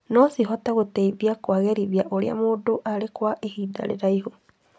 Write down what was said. No cihote gũteithia kũagĩrithia ũrĩa mũndũ arĩ kwa ihinda iraihu.